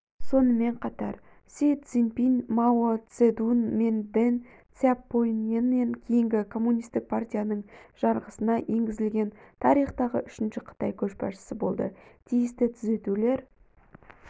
сонымен қатар си цзиньпин мао цзедун мен дэн сяопиннен кейінгі коммунистік партияның жарғысына енгізілген тарихтағы үшінші қытай көшбасшысы болды тиісті түзетулер